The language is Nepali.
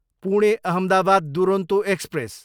पुणे, अहमदाबाद दुरोन्तो एक्सप्रेस